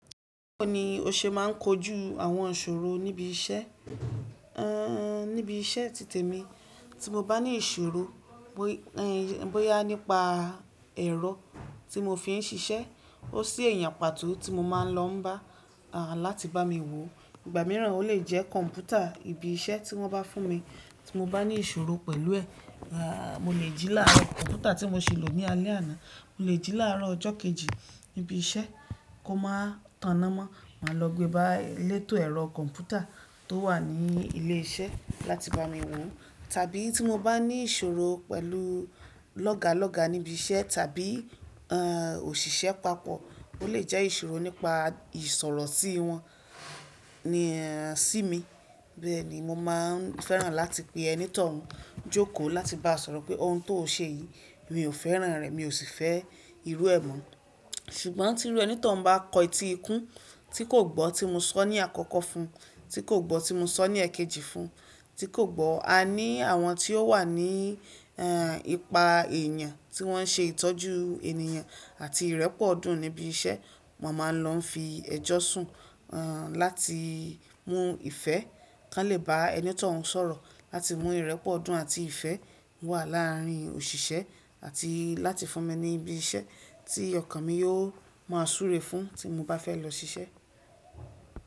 Báwo ni o ṣe máà ń kojú àwọn ìṣòro níbi iṣẹ́? Ehn, níbi iṣẹ́ titẹ̀ mi tí mo bá ní ìṣòro bóyá nípa ẹ̀rọ tí mo fi ń ṣiṣẹ́, ó sí ẹ̀yà pàtó tí mo máa ń lọ bá láti bá mi wòó. Ìgbà míràn ó lè jẹ́ kọ̀ḿpútà ibi iṣẹ́ tí wọ́n bá fún mi tí mo bá ní ìṣòro pẹ̀lú ẹ̀. Aà, mo lè jí láàáro kọ̀ḿpútà tí mo ṣi lò ní alẹ́ àná, mo lè jí láàrọ̀ ọjọ́ kejì níbi iṣẹ́ kó máa tana mọ́. Màá lọ gbe bá elétò ẹ̀rọ kọ̀ḿpútà tó wà ní ilé iṣẹ́ láti bá mi wòó. Tàbí tí mo bá ní ìṣòro pẹ̀lú lọ́gàlọ́gà níbi iṣẹ́ tàbí ehn òṣìṣẹ́ papọ̀, ó lè jẹ́ ìṣòro nípa ìsọ̀rọ̀ sí wọn ni sí mi. Bẹ́ẹ̀ ni mo máa ń fẹ́ràn láti pe ẹni tó hun jókòó láti bá sọ̀rọ̀ pé ohun tó o ṣe yìí mi ò fẹ́ràn rẹ̀, mi ò sì fẹ́ irú ẹ̀ mọ́. Ṣùgbọ́n tí irú ẹni tó hun bá kọ etí ikún tí kò gbọ́ tí mo sọ ní àkọ́kọ́ fún, tí kò gbọ́ tí mo sọ ní èkejì fún, tí kò gbọ́, a ní àwọn tí ó wà ní ehn ipa èèyàn tí wọ́n ṣe ìtọ́jú ènìyàn àti ìrẹ́pọ̀dùn níbi iṣẹ́, mo máa lọ fi ẹjọ́ sùn ehn láti mú ìfẹ́, kí wọ́n lè bá ẹni tó hun sọ̀rọ̀ láti mú ìrẹ́pọ̀dùn àti ìfẹ́ wà láàárín òṣìṣẹ́ àti láti fún mi ní ibi iṣẹ́ tí ọkàn mi yóò máa súre fún tí mo bá fẹ́ lọ ṣiṣẹ́.